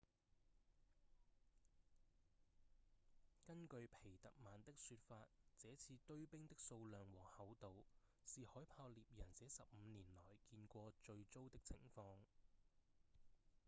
根據皮特曼的說法這次堆冰的數量和厚度是海豹獵人這十五年來見過最糟的情況